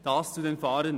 Dies zu den Fahrenden.